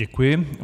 Děkuji.